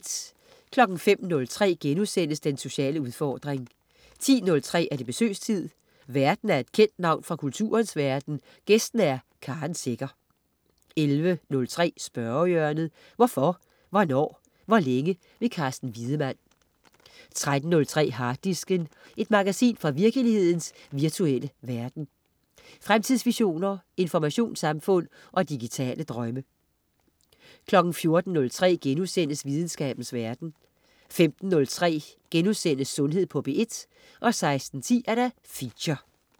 05.03 Den sociale udfordring* 10.03 Besøgstid. Værten er et kendt navn fra kulturens verden, gæsten er Karen Secher 11.03 Spørgehjørnet. Hvorfor, hvornår, hvor længe? Carsten Wiedemann 13.03 Harddisken. Et magasin fra virkelighedens virtuelle verden. Fremtidsvisioner, informationssamfund og digitale drømme 14.03 Videnskabens verden* 15.03 Sundhed på P1* 16.10 Feature